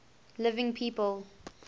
living people